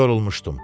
Yorulmuşdum.